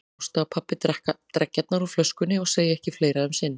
Ásta og pabbi drekka dreggjarnar úr flöskunni og segja ekki fleira um sinn.